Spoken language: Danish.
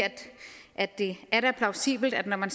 at det er plausibelt når man